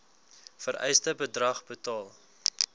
vereiste bedrag betaal